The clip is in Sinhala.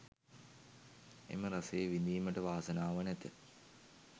එම රසය විඳීමට වාසනාව නැත.